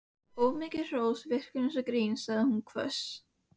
Of mikið hrós virkar eins og grín sagði hún hvöss.